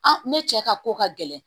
ne cɛ ka ko ka gɛlɛn